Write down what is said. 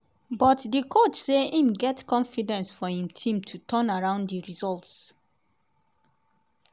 but di coach say im get confidence for im team to turn around di results.